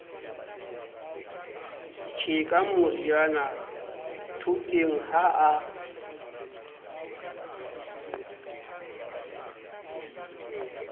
tjheka moriana thoteng ha a